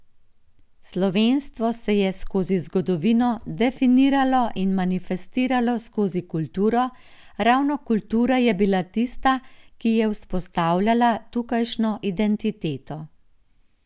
Slovenstvo se je skozi zgodovino definiralo in manifestiralo skozi kulturo, ravno kultura je bila tista, ki je vzpostavljala tukajšnjo identiteto.